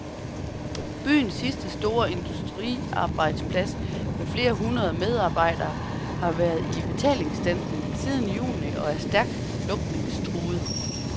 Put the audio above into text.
Byens sidste store industriarbejdsplads med flere hundrede medarbejdere har været i betalingsstandsning siden juni og er stærkt lukningstruet.